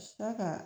Sa ka